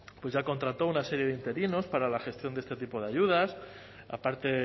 pues ya contrató una serie de interinos para la gestión de este tipo de ayudas aparte